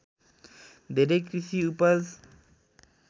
धेरै कृषि उपज